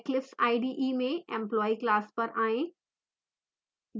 eclipse ide में employee class पर आएँ